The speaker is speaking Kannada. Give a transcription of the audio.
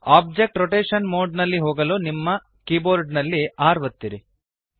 ಒಬ್ಜೆಕ್ಟ್ ರೊಟೇಶನ್ ಮೋಡ್ ನಲ್ಲಿ ಹೋಗಲು ನಿಮ್ಮ ಕೀಬೋರ್ಡ್ ನಲ್ಲಿ R ಒತ್ತಿರಿ